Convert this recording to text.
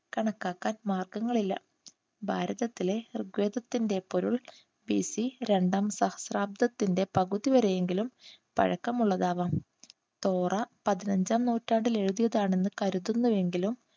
കണക്കാക്കാൻ മാർഗങ്ങളില്ല. ഭാരതത്തിലെ ഋഗ്വേദത്തിന്റെ പൊരുൾ ബിസി രണ്ടാം സഹസ്രാബ്ദത്തിന്റെ പകുതിവരെയെങ്കിലും പഴക്കമുള്ളതാകാം. തോറ പതിനഞ്ചാം നൂറ്റാണ്ടിൽ എഴുതിയതാണെന്ന് കരുതുന്നുവെങ്കിലും